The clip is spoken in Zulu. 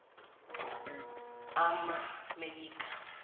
amamelika